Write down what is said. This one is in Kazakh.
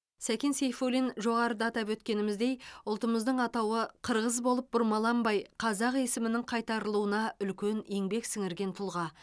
сәкен сейфуллин жоғарыда атап өткеніміздей ұлтымыздың атауы қырғыз болып бұрмаланбай қазақ есімінің қайтарылуына үлкен еңбек сіңірген тұлға